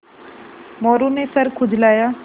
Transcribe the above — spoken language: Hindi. मोरू ने सर खुजलाया